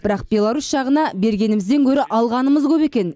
бірақ беларусь жағына бергенімізден гөрі алғанымыз көп екен